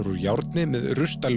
úr járni með